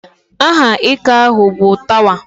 Aha ika ahụ bụ Tawa.